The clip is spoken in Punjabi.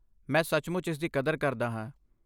ਮੈਂ ਸੱਚਮੁੱਚ ਇਸ ਦੀ ਕਦਰ ਕਰਦਾ ਹਾਂ।